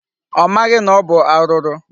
Ọ maghị na ọ bụ arụrụ.